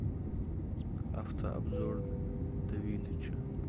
авто обзор давидыча